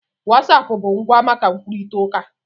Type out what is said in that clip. wasapu bụ ngwa maka nkwukọrịta uka